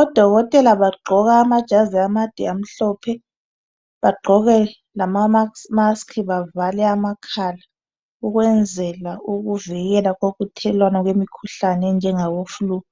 Odokotela bagqoka amajazi amade amhlophe bagqoke amamask bavale amakhala ukwenzela ukuvikela kokuthelelwana kwemikhuhlane enjengabo flue